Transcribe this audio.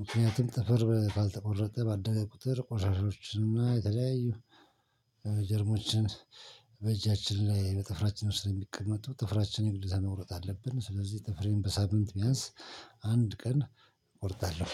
ምክንያቱም ጥፍር ባልተቆረጠ ባደረ ቁጥር ቆሻሻዎችን እና የተለያዩ ጀርሞችን- በእጃችን ላይ በጥፍራችን ውስጥ የሚቀመጡ ጥፍራችን የግዴታ መቁረጥ አለብን። ስለዚህ ጥፍሬን በሳምንት ቢያንስ አንድ ቀን እቆርጣለሁ።